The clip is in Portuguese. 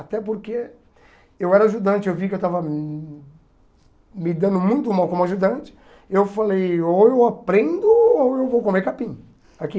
Até porque eu era ajudante, eu vi que eu estava me dando muito mal como ajudante, eu falei, ou eu aprendo ou eu vou comer capim aqui.